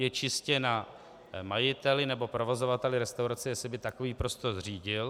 Je čistě na majiteli nebo provozovateli restaurace, jestli by takový prostor zřídil.